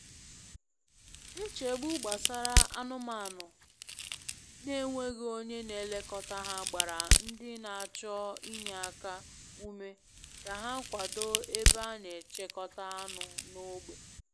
Nchegbu gbasara anụmanụ na-enweghị onye na elekọta ha gbara ndị na-achọ inye aka ume ka ha kwado ebe a na-echekọta anụ n’ógbè.